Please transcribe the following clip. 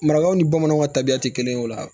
Marakaw ni bamananw ka tabiya tɛ kelen o la